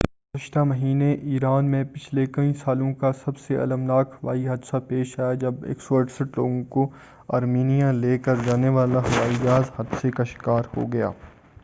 گزشتہ مہینے ایران میں پچھلے کئی سالوں کا سب سے المناک ہوائی حادثہ پیش آیا جب 168 لوگوں کو آرمینیا لے کر جانے والا ہوائی جہاز حادثے کا شکار ہو گیا